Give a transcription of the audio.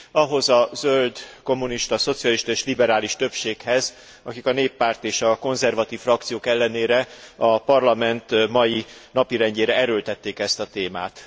Ahhoz a zöld, kommunista, szocialista és liberális többséghez, akik a Néppárt és a konzervatív frakciók ellenére a Parlament mai napirendjére erőltették ezt a témát.